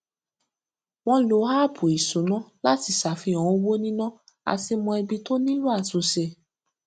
wọn lo áàpù ìṣúná láti ṣàfihàn owó níná àti mọ ibi tó nílò àtúnṣe